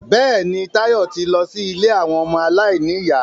Bẹ́ẹ̀ni, Táyọ̀ ti lọ sí ilé àwọn ọmọ aláìníyà